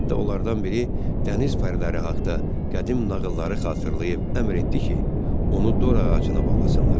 Hətta onlardan biri dəniz pəriləri haqta qədim nağılları xatırlayıb əmr etdi ki, onu dor ağacına bağlasınlar.